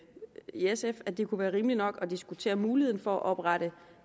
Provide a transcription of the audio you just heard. sf at det kunne være rimeligt nok at diskutere muligheden for at oprette